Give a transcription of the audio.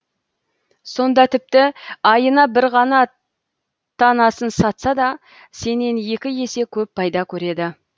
сонда тіпті айына бір ғана танасын сатса да сенен екі есе көп пайда көреді